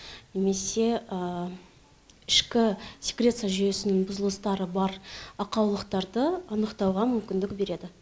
немесе ішкі секреция жүйесінің бұзылыстары бар ақаулықтарды анықтауға мүмкіндік береді